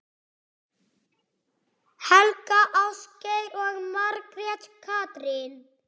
Helga, Ásgeir og Margrét Katrín.